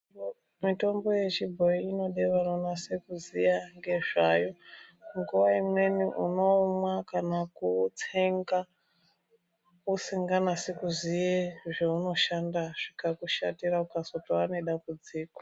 Mitombo yechibhoi inoda unonase kuziya ngezvayo nguwa imweni unoumwa kana kuutsenga usinganasi kuziye zvaunoshanda zvikakushandira ukatozowa nedambudziko.